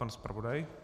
Pan zpravodaj.